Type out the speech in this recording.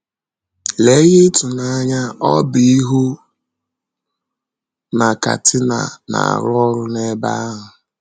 Lee ihe ịtụnanya ọ bụ ịhụ na Katina na - arụ ọrụ n’ebe ahụ!